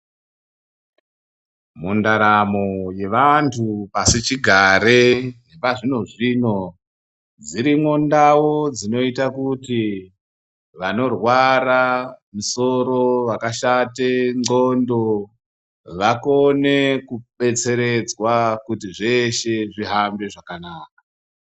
Mundaramo yevantu pasichigare nazvino zvino dzirimwo ndau dzinoita kuti vanorwara misoro, vakashate ndxondo vakone kudetseredzwa kuti zvese zvihambe zvakanaka.